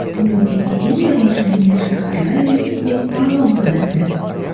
Dunyodagi eng rivojlangan shaharlar reytingi ma’lum qilindi.